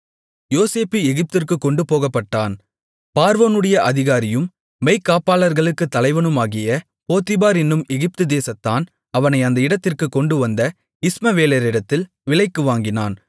யோசேப்பு எகிப்திற்குக் கொண்டு போகப்பட்டான் பார்வோனுடைய அதிகாரியும் மெய்க்காப்பாளர்களுக்குத் தலைவனுமாகிய போத்திபார் என்னும் எகிப்து தேசத்தான் அவனை அந்த இடத்திற்குக் கொண்டுவந்த இஸ்மவேலரிடத்தில் விலைக்கு வாங்கினான்